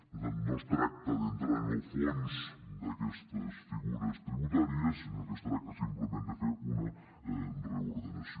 per tant no es tracta d’entrar en el fons d’aquestes figures tributàries sinó que es tracta simplement de fer una reordenació